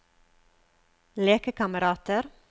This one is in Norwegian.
lekekamerater